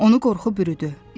Onu qorxu bürüdü.